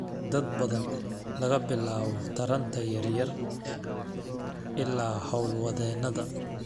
dad badan, laga bilaabo taranta yar yar ilaa hawlwadeenada.